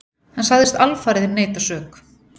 Hann sagðist alfarið neita sök.